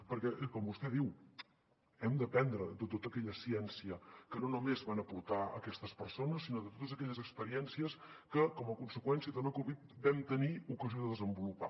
perquè com vostè diu n’hem d’aprendre de tota aquella ciència que no només van aportar aquestes persones sinó totes aquelles experiències que com a conseqüència de la covid vam tenir ocasió de desenvolupar